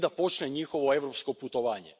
I da počne njihovo europsko putovanje.